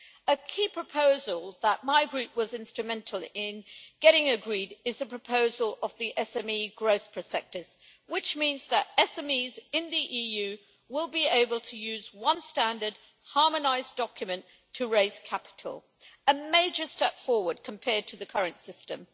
A key proposal that my group was instrumental in getting agreed is the proposal of the SME growth prospectus, which means that SMEs in the EU will be able to use one standard harmonised document to raise capital, a major step forward compared to the current system.